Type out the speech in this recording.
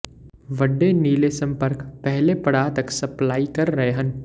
ਵੱਡੇ ਨੀਲੇ ਸੰਪਰਕ ਪਹਿਲੇ ਪੜਾਅ ਤੱਕ ਸਪਲਾਈ ਕਰ ਰਹੇ ਹਨ